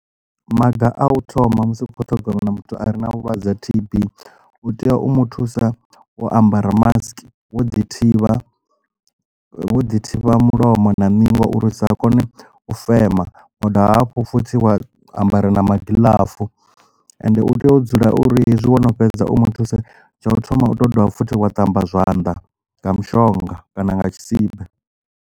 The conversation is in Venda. Maga a u thoma musi ukho ṱhogomela muthu a re na vhulwadze ha T_B u tea u mu thusa wo ambara mask wo ḓi thivha vho ḓi thivha mulomo na ningo uri usa kone u fema wa dovha hafhu futhi wa ambara magiḽafu and u tea u dzula uri hezwi wono fhedza u mu thuse tsha u thoma u to dovha futhi wa ṱamba zwanḓa nga mushonga kana nga tshisibe.